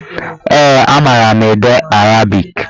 Ee, a mara m ede arabik.